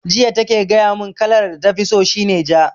Jiya take gaya mun kalar da tafi so shi ne ja